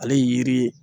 Ale ye yiri ye